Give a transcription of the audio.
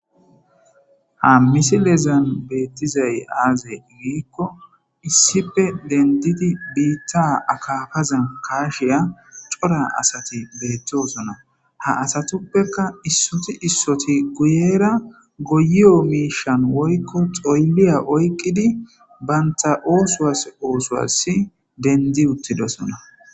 ha misilezan bettizay aazee giikko issipe dendidi biitta akaafazan kaashiya cora asati beettosona ha asatuppekka issoti issoti guyera goyiyo miisha woykko xoyliya okkidi banta oosuwas oosowas dendi uttidosona